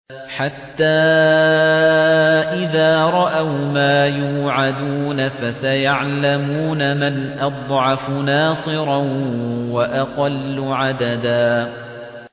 حَتَّىٰ إِذَا رَأَوْا مَا يُوعَدُونَ فَسَيَعْلَمُونَ مَنْ أَضْعَفُ نَاصِرًا وَأَقَلُّ عَدَدًا